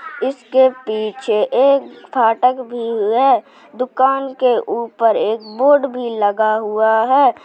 इसके पीछे एक फाटक भी है | दुकान के ऊपर एक बोर्ड भी लगा हुआ है।